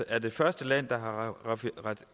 er det første land der har